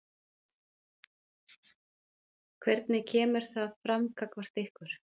Hvernig kemur það fram gagnvart ykkur?